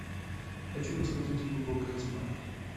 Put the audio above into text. хочу посмотреть глубокая тьма